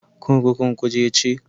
Kurkukun Kuje ce.